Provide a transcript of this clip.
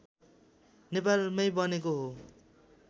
नेपालमै बनेको हो